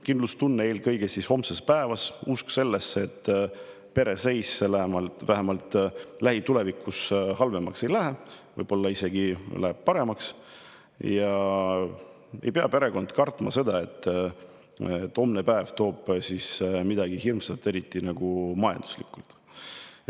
Kindlustunne eelkõige homse päeva ees: usk sellesse, et pere seis vähemalt lähitulevikus halvemaks ei lähe, võib-olla läheb isegi paremaks; et perekond ei pea kartma, et homne päev toob midagi hirmsat, eriti majanduslikult.